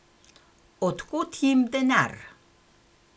Od kod jim denar?